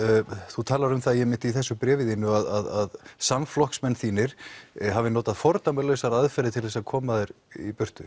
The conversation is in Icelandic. þú talar um það einmitt í þessu bréfi þínu að samflokksmenn þínir hafi notað fordæmalausar aðferðir til að koma þér í burtu